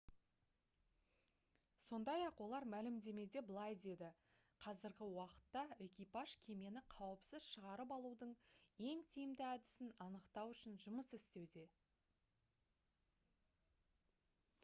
сондай-ақ олар мәлімдемеде былай деді: «қазіргі уақытта экипаж кемені қауіпсіз шығарып алудың ең тиімді әдісін анықтау үшін жұмыс істеуде»